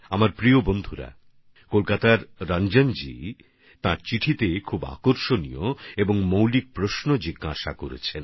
আমার প্রিয় দেশবাসী কলকাতার রঞ্জনজি তাঁর চিঠিতে অনেক আকর্ষণীয় ও বুনিয়াদী প্রশ্ন করেছেন